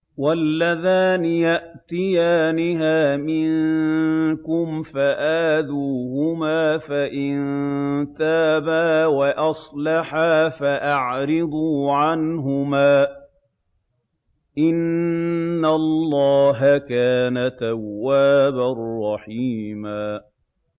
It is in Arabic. وَاللَّذَانِ يَأْتِيَانِهَا مِنكُمْ فَآذُوهُمَا ۖ فَإِن تَابَا وَأَصْلَحَا فَأَعْرِضُوا عَنْهُمَا ۗ إِنَّ اللَّهَ كَانَ تَوَّابًا رَّحِيمًا